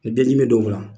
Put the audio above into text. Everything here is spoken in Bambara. Ni bɛɛ dimi bɛ don o la